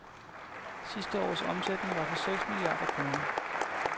Sidste års omsætning var på seks milliarder kroner.